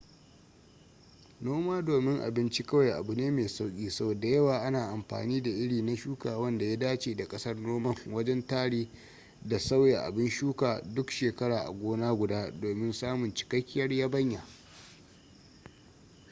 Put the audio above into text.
noma domin abinci kawai abu ne mai sauki sau da yawa ana amfani da iri na shuka wanda ya dace da kasar noman wajen tare da sauya abin shuka duk shekara a gona guda domin samun cikakkiyar yabanya